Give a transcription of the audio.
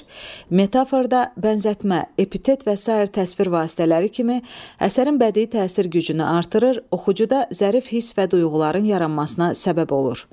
Metaforda bənzətmə, epitet və sair təsvir vasitələri kimi əsərin bədii təsir gücünü artırır, oxucuda zərif hiss və duyğuların yaranmasına səbəb olur.